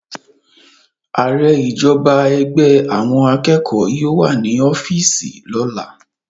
Aare ijọba ẹgbẹ awọn akeko yóò wa ni ọfiisi lola